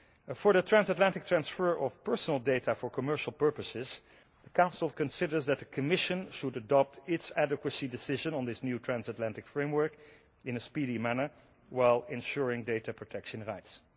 For the transatlantic transfer of personal data for commercial purposes, the Council considers that the Commission should adopt its adequacy decision on this new transatlantic framework in a speedy manner while ensuring data protection rights.